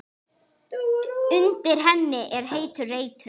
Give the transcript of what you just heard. Undir henni er heitur reitur.